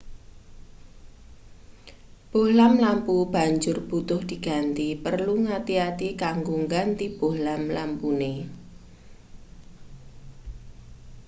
bohlam lampu banjur butuh diganti perlu ngati-ati kanggo ngganti bohlam lampune